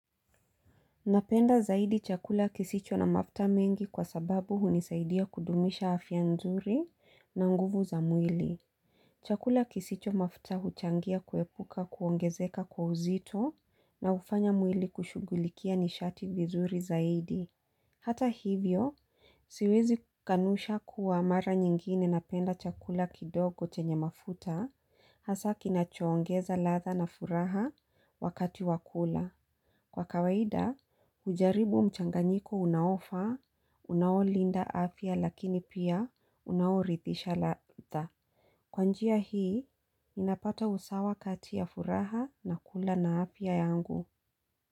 Napenda zaidi chakula kisicho na mafuta mengi kwa sababu hunisaidia kudumisha afya nzuri na nguvu za mwili. Chakula kisicho mafuta huchangia kuepuka kuongezeka kwa uzito na ufanya mwili kushugulikia nishati vizuri zaidi. Hata hivyo, siwezi kanusha kuwa mara nyingine napenda chakula kidogo chenye mafuta, hasa kinachoongeza ladha na furaha wakati wakula. Kwa kawaida, ujaribu mchanganyiko unaofaa, unaolinda afya lakini pia unaoridhisha ladha. Kwanjia hii, napata usawa kati ya furaha na kula na afya yangu.